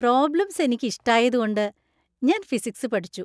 Problems എനിക്ക് ഇഷ്ടായതുകൊണ്ട് ഞാൻ ഫിസിക്സ് പഠിച്ചു.